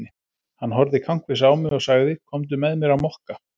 Hann horfði kankvís á mig og sagði: Komdu með mér á Mokka.